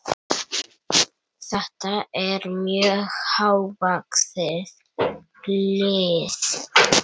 Þetta er mjög hávaxið lið.